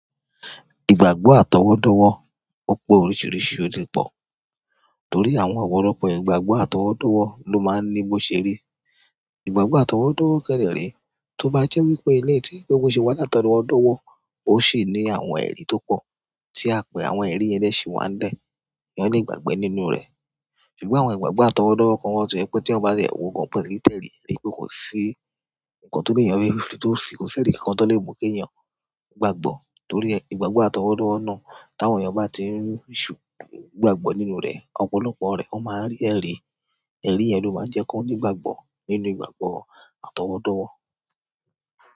Ìgbàgbọ́ àtọwọ́dọ́wọ́, ó pé oríṣìíríṣìí òtí pọ̀. Torí àwọn ọ̀pọ̀lọpọ̀ ìgbàgbọ́ àtọwọ́dọ́wọ́ ló máa ń ní bó ṣe rí. Ìgbàgbọ́ àtọwọ́dọ́wọ́ kédé re tó bá jẹ́ wípé ilẹ̀yi tí bo ṣe wà látọwọ́dọ́wọ́, ó sì ní àwọn ẹ̀rí tó pọ̀, tí a pè àwọn ẹ̀rí yẹn de si wan be, eeyan le gbàgbọ́ nínú rẹ̀. Ṣùgbọ́n àwọn ìgbàgbọ́ àtọwọ́dọ́wọ́ kan wa to jẹ pé tí eeyan ti e wo gan ko ni tẹ́ẹ̀rí wí pé kò sí ǹkan tó léèyàn rí tó sì kò sí ẹ̀rí kan tán tó lè mú kí èèyàn gbàgbọ́. Torí ìgbàgbọ́ àtọwọ́dọ́wọ́ náà, tàwọn èèyàn bá ti ń sù gbàgbọ́ nínú rẹ̀, ọ̀pọ̀lọpọ̀ rẹ̀ ó máa rí ẹ̀rí, ẹ̀rí yẹn ló máa ń jẹ́ kí wọ́n ní ìgbàgbọ́ nínú ìgbàgbọ́ àtọwọ́dọ́wọ́.